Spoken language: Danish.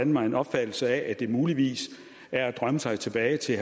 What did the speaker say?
mig en opfattelse af at det muligvis er at drømme sig tilbage til